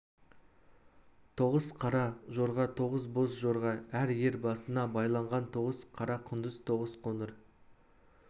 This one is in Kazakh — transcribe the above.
тоғыз қара жорға тоғыз боз жорға әр ер басына байланған тоғыз қара құндыз тоғыз қоңыр